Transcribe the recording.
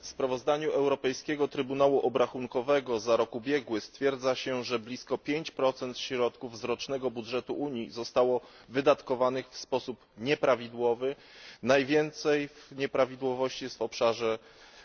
W sprawozdaniu Europejskiego Trybunału Obrachunkowego za rok ubiegły stwierdza się, że blisko 5 środków z rocznego budżetu Unii zostało wydatkowanych w sposób nieprawidłowy najwięcej nieprawidłowości jest w obszarze